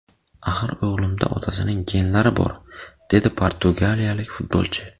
Axir o‘g‘limda otasining genlari bor”, – dedi portugaliyalik futbolchi.